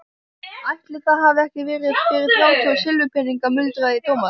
Ætli það hafi ekki verið fyrir þrjátíu silfurpeninga muldraði Thomas.